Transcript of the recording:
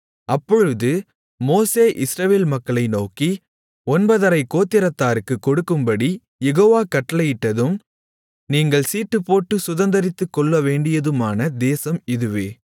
அப்பொழுது மோசே இஸ்ரவேல் மக்களை நோக்கி ஒன்பதரைக் கோத்திரத்தாருக்குக் கொடுக்கும்படி யெகோவா கட்டளையிட்டதும் நீங்கள் சீட்டுப்போட்டுச் சுதந்தரித்துக்கொள்ளவேண்டியதுமான தேசம் இதுவே